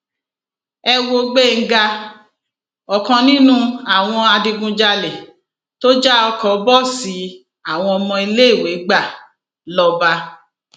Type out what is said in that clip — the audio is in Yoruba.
ẹ wo gbéńgá ọkan nínú àwọn adigunjalè tó já ọkọ bọọsì àwọn ọmọ iléèwé gbà lọba